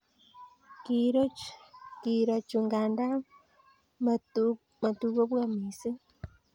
Kiiro chu nganda matukobwa missing